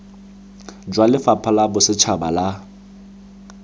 jwa lefapha la bosetšhaba la